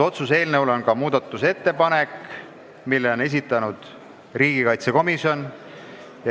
Otsuse eelnõu kohta on ka muudatusettepanek, mille on esitanud riigikaitsekomisjon.